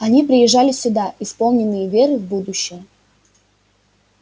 они приезжали сюда исполненные веры в будущее